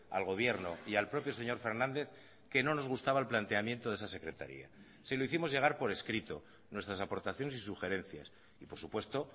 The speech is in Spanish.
al gobierno y al propio señor fernández que no nos gustaba el planteamiento de esa secretaría se lo hicimos llegar por escrito nuestras aportaciones y sugerencias y por supuesto